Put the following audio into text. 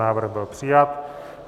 Návrh byl přijat.